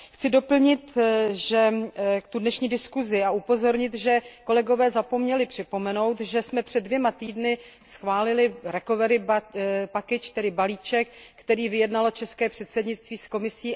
Chci doplnit dnešní diskuzi a upozornit, že kolegové zapomněli připomenout, že jsme před dvěma týdny schválili recovery package, tedy balíček, který vyjednalo české předsednictví s Komisí.